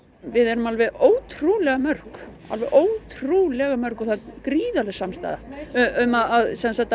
við erum alveg ótrúlega mörg alveg ótrúlega mörg það er gríðarleg samstaða um að